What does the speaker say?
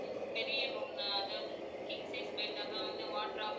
பெரிய room னா அதாவது king size bed அப்புறம் வந்து wardrobe